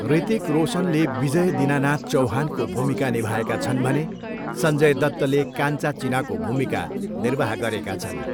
ऋतिक रोसनले विजय दिनानाथ चौहानको भूमिका निभाएका छन् भने सञ्जय दत्तले काञ्चा चिनाको भूमिका निर्वाह गरेका छन्।